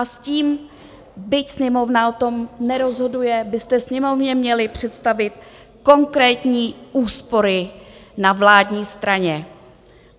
A s tím byť Sněmovna o tom nerozhoduje, byste Sněmovně měli představit konkrétní úspory na vládní straně.